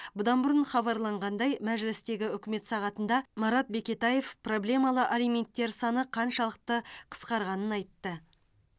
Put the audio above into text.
бұдан бұрын хабарланғандай мәжілістегі үкімет сағатында марат бекетаев проблемалы алименттер саны қаншалықты қысқарғанын айтты